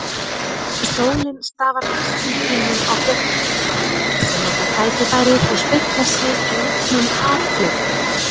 Sólin stafar geislum sínum á fjöllin, sem nota tækifærið og spegla sig í lygnum haffletinum.